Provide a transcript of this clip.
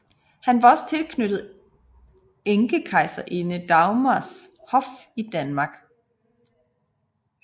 Han var også tilknyttet enkekejserinde Dagmars hof i Danmark